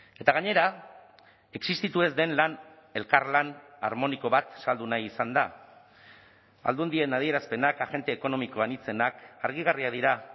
eta gainera existitu ez den lan elkarlan armoniko bat saldu nahi izan da aldundien adierazpenak agente ekonomiko anitzenak argigarriak dira